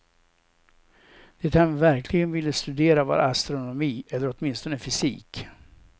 Det han verkligen ville studera var astronomi, eller åtminstone fysik.